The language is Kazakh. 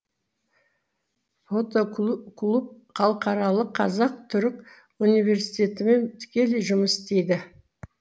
фотоклуб халықаралық қазақ түрік университетімен тікелей жұмыс істейді